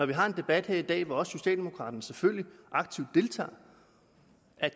vi har en debat her i dag hvor også socialdemokraterne selvfølgelig aktivt deltager